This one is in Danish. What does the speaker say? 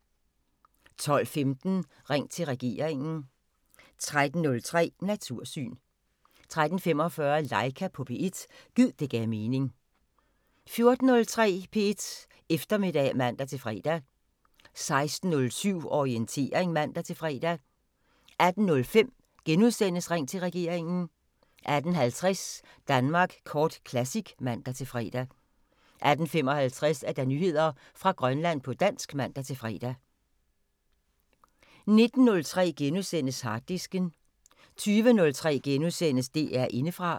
12:15: Ring til regeringen 13:03: Natursyn 13:45: Laika på P1 – gid det gav mening 14:03: P1 Eftermiddag (man-fre) 16:07: Orientering (man-fre) 18:05: Ring til regeringen * 18:50: Danmark Kort Classic (man-fre) 18:55: Nyheder fra Grønland på dansk (man-fre) 19:03: Harddisken * 20:03: DR Indefra *